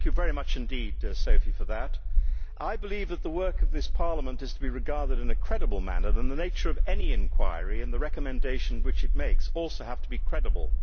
Thank you very much indeed, Sophie, for that. I believe that if the work of this Parliament is to be regarded in a credible manner, then the nature of any inquiry and the recommendations which it makes also have to be credible.